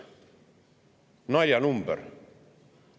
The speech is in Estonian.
" Naljanumber!